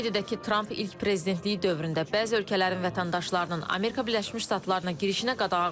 Qeyd edək ki, Tramp ilk prezidentliyi dövründə bəzi ölkələrin vətəndaşlarının Amerika Birləşmiş Ştatlarına girişinə qadağa qoyub.